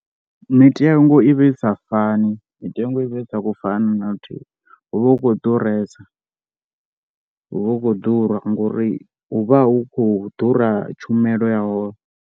Mitengo i vha i sa fani mitengo i vha i sa khou fana na luthihi, hu vha hu khou ḓuresa, hu vha hu khou ḓura ngori hu vha hu khou ḓura tshumelo ya hone.